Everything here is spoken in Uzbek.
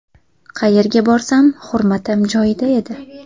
Qayerga borsam hurmatim joyida edi.